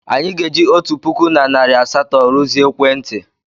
Anyị ga-eji otu puku na narị asatọ rụzie ekwentị.